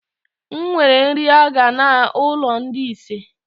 nwèrè nrị a ga na ụlọ ndi isé!